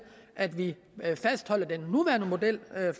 at vi fastholder den nuværende model